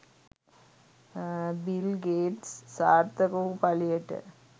bill Gates සාර්ථක වූ පලියට